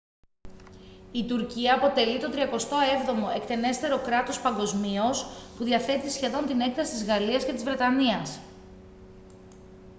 η τουρκία αποτελεί το τριακοστό έβδομο εκτενέστερο κράτος παγκοσμίως που διαθέτει σχεδόν την έκταση της γαλλίας και της βρετανίας